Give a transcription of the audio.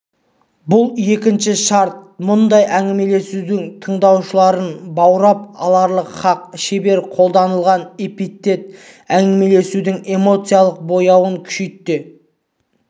бұл екінші шарт мұндай әңгімелесудің тыңдаушыларын баурап алары хақ шебер қолданылған эпитет әңгімелесудің эмоциялық бояуын күшейте